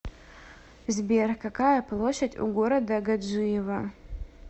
сбер какая площадь у города гаджиево